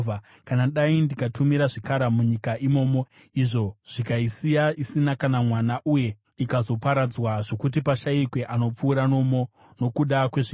“Kana dai ndikatumira zvikara munyika imomo, izvo zvikaisiya isina kana mwana uye ikazoparadzwa zvokuti pashayikwe anopfuura nomo nokuda kwezvikara,